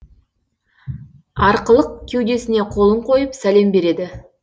арқылық кеудесіне қолын қойып сәлем береді